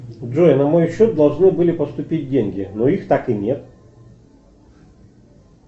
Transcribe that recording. джой на мой счет должны были поступить деньги но их так и нет